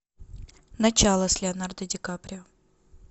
начало с леонардо ди каприо